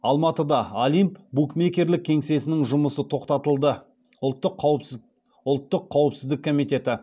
алматыда олимп букмекерлік кеңсесінің жұмысы тоқтатылды ұлттық қауіпсіздік комитеті